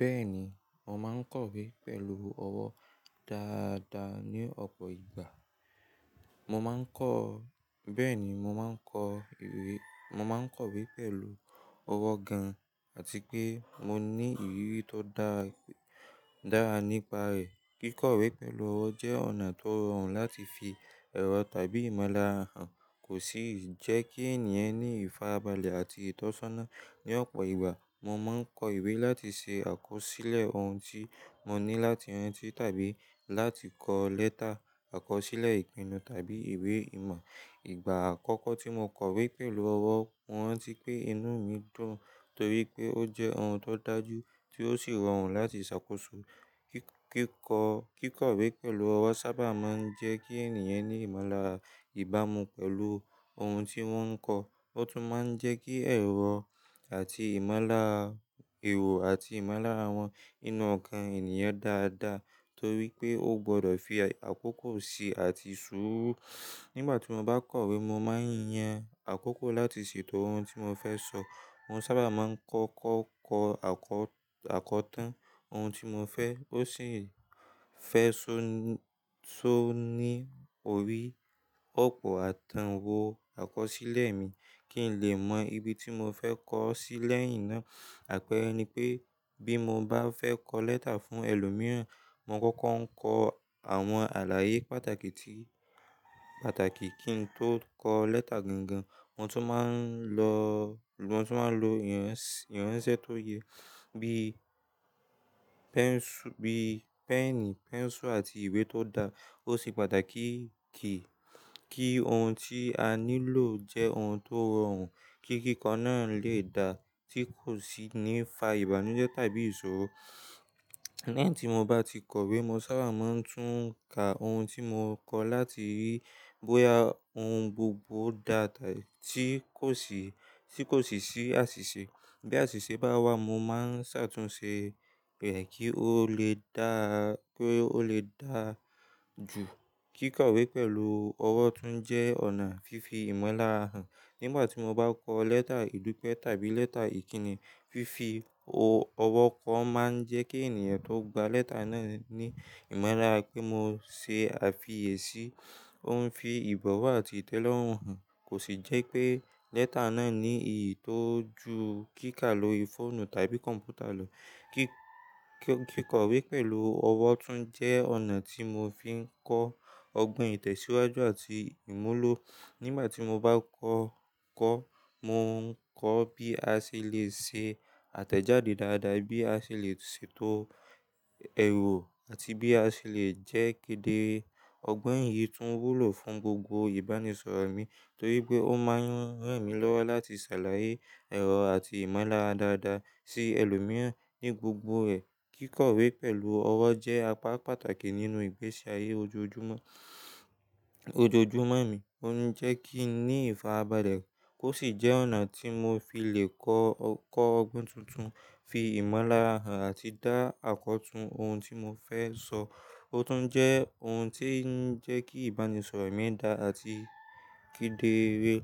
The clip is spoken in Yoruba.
Bẹ́ẹ̀ni, mo máa ń kọ̀wé pẹ̀lú ọwọ́ dáadáa ní ọ̀pọ̀ ìgbà. Mo máa ń kọ̀, bẹ́ẹ̀ni mo máa ń kọ ìwé, mo máa ń kọ̀wé pẹ̀lú ọwọ́ gan, àti pé mo ní ìrírí tó dára nípa rẹ̀. Kíkọ̀wé pẹ̀lú ọwọ́ jẹ́ ọ̀nà tó rọrùn láti fi ẹ̀rọ tàbí ìmọ̀lá hàn. Kò sì jẹ́ kí ènìyàn ní ìfarabalẹ̀ àti ìtọ́sọ́nà. Ní ọ̀pọ̀ ìgbà mo máa ń kọ ìwé láti ṣe àkọsílẹ̀ ohun tí mo ní láti rántí tàbí láti kọ lẹ́tà, àkọsílẹ̀ ìpinnu tàbí ìwé ìmọ̀. Ìgbà àkọ́kọ́ tí mo kọ̀wé pẹ̀lú ọwọ́, mo rántí pé inú mi dùn torí pé ó jẹ́ ohun tó dájú tí ó sì rọrùn láti ṣàkóso. Kíkọ̀wé pẹ̀lú ọwọ́ sábà máa ń jẹ́ kí ènìyàn ní ìmọ̀lá ìbámu pẹ̀lú ohun tí wọ́n ń kọ. Ó tún máa ń jẹ́ kí ẹ̀rọ àti ìmọ̀lára, èrò àti ìmọ̀lára wọn inú ọkàn ènìyàn dáadáa. Torí pé ó gbọdọ̀ fi àkókò si àti súúrú. Nígbà tí mo bá kọ̀wé, mo máa ń yan àkókò láti ṣètò ohun tí mo fẹ́ sọ. Mo sábà máa ń kọ́kọ́ kọ àkọ tán ohun tí mo fẹ́, ó sì ń fẹ́ ṣóní orí ọ̀pọ̀ ààtàn wo àkọsílẹ̀ mi kí n lè mọ ibi tí mo fẹ́ kọ sílẹ̀ iná. Àpẹẹrẹ ni pé bí mo bá fẹ́ kọ lẹ́tà fún ẹlòmíràn, mo ń kọ́kọ́ ń kọ àwọn àlàyé pàtàkì tí, pàtàkì kí n tó kọ lẹ́tà gangan motun maa n lo Mo tún máa ń lo ìránṣẹ́ tó yẹ bí i pẹ́ńsù, bí i pẹ́ẹ̀ní, pẹ́ńsù àti ìwé tó dáa. Ó sì pàtàkì kí ohun tí a nílò jẹ́ ohun tó rọrùn, kí kíkọ náà lè dá tí kò sì ní fa ìbànújẹ́ tàbí ìṣòro. Lẹ́yìn tí mo bá ti kọ̀wé, mo sábà máa ń tún ká ohun tí mo kọ láti rí bóyá ohun gbogbo dáa tá tí kò sì sí àṣìṣe. Bí àṣìṣe bá wà mo máa ń ṣàtúnṣe rẹ̀ kí ó lè dá ju. Kíkọ̀wé pẹ̀lú ọwọ́ tún jẹ́ ọ̀nà fífi ìmọ̀lá hàn. Nígbà tí mo bá kọ lẹ́tà ìdúpẹ́ tàbí lẹ́tà ìkíni, fífi ọwọ́ kọ máa ń jẹ́ kí ènìyàn tó gba lẹ́tà náà ní ìmọ̀lára pé mo ṣe àfiyèsí, ó ń fi ìbọ̀wọ̀ àti ìtẹ́lọ́rùn hàn. Kò sì jẹ́ pé lẹ́tà náà ní iyì tó ju kí ká lori fóònù tàbí kọ̀mpútà lọ. Kíkọ̀wé pẹ̀lú ọwọ́ tún jẹ́ ọ̀nà tí mo fi ń kọ́ ọgbọ́n ìtẹ̀síwájú àti ìmúlò. Nígbà tí mo bá kọ kọ́, mo ń kọ bí a ṣì lè ṣe àtẹ̀jáde dáadáa, bí a ṣì lè ṣètò ẹ̀rọ àti bí a ṣì lè jẹ́ kedere. Ọgbọ́nyìn tún wúlò fún gbogbo ìbánisọ̀rọ̀ mi torí pé ó máa ń ràn mí lọ́wọ́ láti ṣàlàyé ẹ̀rọ àti ìmọ̀lára dáadáa sí ẹlòmíràn ní gbogbo rẹ̀. Kíkọ̀wé pẹ̀lú ọwọ́ jẹ́ apá pàtàkì nínú ìgbésí ayé ojoojúmọ́ mi. Ó ń jẹ́ kí n ní ìfarabalẹ̀, kó sì jẹ́ ọ̀nà tí mo fi lè kọ́ ọgbọ́n tuntun, fi ìmọ̀lára hàn àti dá àkótun ohun tí mo fẹ́ sọ. Ó tún jẹ́ ohun tí ń jẹ́ kí ìbánisọ̀rọ̀ mi dá àti kedéré.